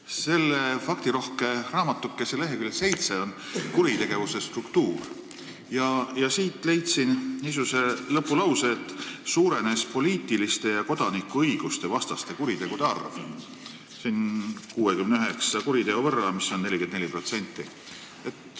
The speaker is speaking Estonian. Selle faktirohke raamatukese leheküljel 7 on alapeatükk "Kuritegevuse struktuur", kust ma leidsin niisuguse lõpulause, et poliitiliste ja kodanikuõiguste vastaste kuritegude arv suurenes 69 kuriteo võrra, mis on 44%.